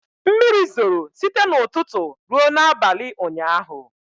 Mmiri zoro site n'ụtụtụ ruo n'abalị ụnyaahụ.